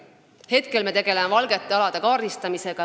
Praegu me tegeleme valgete alade kaardistamisega.